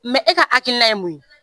e ka hakilina ye mun ye?